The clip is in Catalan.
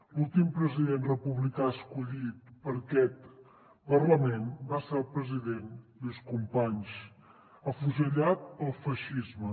l’últim president republicà escollit per aquest parlament va ser el president lluís companys afusellat pel feixisme